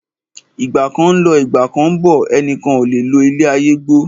Ìgbà kan ń lọ, Ìgbà kán ń bọ̀, ẹnìkan ò lo ilé ayé gbó.